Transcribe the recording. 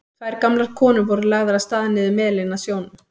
Tvær gamlar konur voru lagðar af stað niður melinn að sjónum.